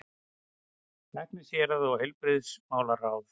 LÆKNISHÉRUÐ OG HEILBRIGÐISMÁLARÁÐ